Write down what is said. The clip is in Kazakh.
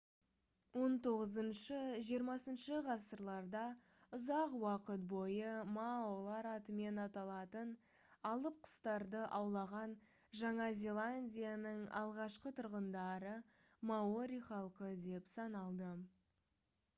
хіх-хх ғасырларда ұзақ уақыт бойы маолар атымен аталатын алып құстарды аулаған жаңа зеландияның алғашқы тұрғындары маори халқы деп саналды